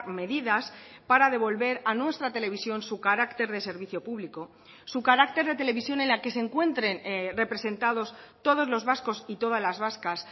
medidas para devolver a nuestra televisión su carácter de servicio público su carácter de televisión en la que se encuentren representados todos los vascos y todas las vascas